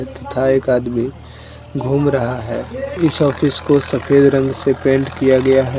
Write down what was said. तथा एक आदमी घूम रहा है इस ऑफिस को सफेद रंग से पेंट किया गया है।